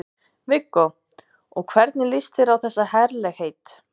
Viggó: Og hvernig líst þér á þessi herlegheit?